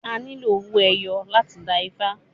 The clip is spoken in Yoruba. A nílò owó ẹyọ láti dá ifá